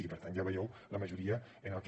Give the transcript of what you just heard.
i per tant ja veieu la majoria en el que